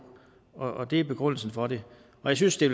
og det er begrundelsen for det jeg synes det